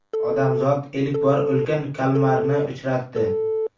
Odamzod ilk bor ulkan kalmarni uchratdi .